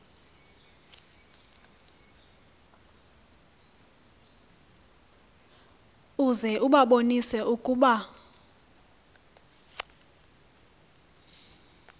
uze ubabonise ukuba